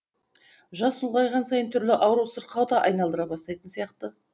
жас ұлғайған сайын түрлі ауру сырқау да айналдыра бастайтын сияқты